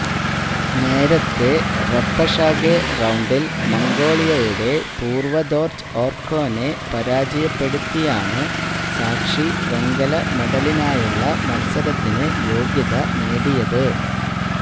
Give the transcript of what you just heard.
നേരത്തെ റെപ്പഷാഗെ റൌണ്ടിൽ മംഗോളിയയുടെ പുറവദോർജ് ഓർക്കോനെ പരാജയപ്പെടുത്തിയാണ് സാക്ഷി വെങ്കല മെഡലിനായുള്ള മത്സരത്തിന് യോഗ്യത നേടിയത്